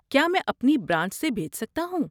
کیا میں اپنی برانچ سے بھیج سکتا ہوں؟